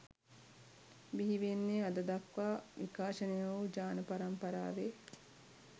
බිහිවෙන්නේ අද දක්වා විකාශනය වු ජාන පරම්පරාවෙ